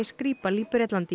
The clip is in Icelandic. Skripal í Bretlandi